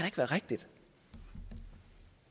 ikke være rigtigt